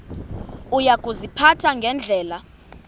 uya kuziphatha ngendlela